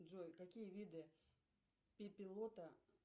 джой какие виды пепелота